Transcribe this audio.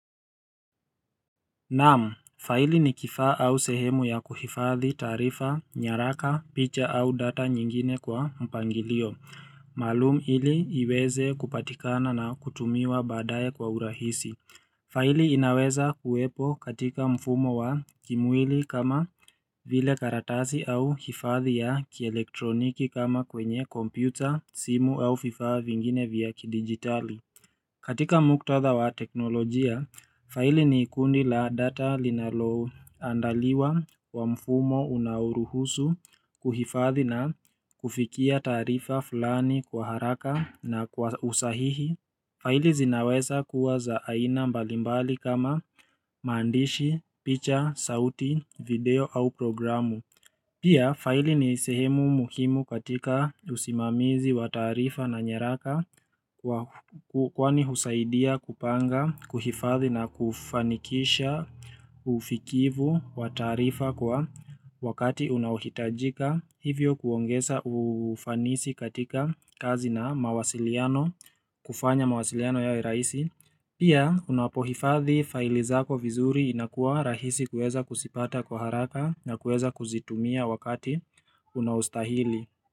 Naam, faili ni kifaa au sehemu ya kuhifadhi taarifa, nyaraka, picha au data nyingine kwa mpangilio maalum ili iweze kupatikana na kutumiwa baadaye kwa urahisi faili inaweza kuwepo katika mfumo wa kimwili kama vile karatasi au hifadhi ya kielektroniki kama kwenye kompyuta, simu au vifaa vingine vya kidigitali katika muktatha wa teknolojia, faili ni kundi la data linaloandaliwa kwa mfumo unaoruhusu kuhifadhi na kufikia taarifa fulani kwa haraka na kwa usahihi faili zinaweza kuwa za aina mbali mbali kama maandishi, picha, sauti, video au programu Pia, faili ni sehemu muhimu katika usimamizi wa taarifa na nyaraka kwa kwani husaidia kupanga, kuhifadhi na kufanikisha ufikivu wa taarifa kwa wakati unahitajika, hivyo kuongeza ufanisi katika kazi na mawasiliano, kufanya mawasiliano yawe rahisi. Pia unapohifathi faili zako vizuri inakuwa rahisi kuweza kuzipata kwa haraka na kuweza kuzitumia wakati unaostahili.